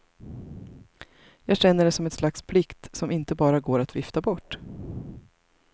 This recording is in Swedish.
Jag känner det som ett slags plikt som inte bara går att vifta bort.